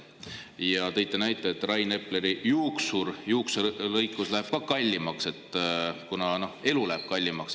Ja, et Rain Epleri juukselõikus läheb ka kallimaks, kuna elu läheb kallimaks.